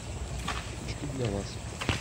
очки для вас